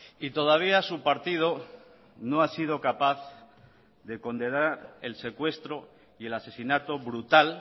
y todavía su partido no ha sido capaz de condenar el secuestro y el asesinato brutal